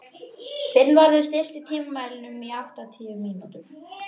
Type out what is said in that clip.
Finnvarður, stilltu tímamælinn á áttatíu mínútur.